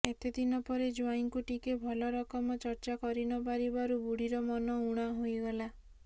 ଏତେ ଦିନ ପରେ ଜ୍ୱାଇଁ ଙ୍କୁ ଟିକେ ଭଲରକମ ଚର୍ଚ୍ଚା କରିନପାରିବାରୁ ବୁଢ଼ୀ ର ମନ ଉଣା ହୋଇଗଲା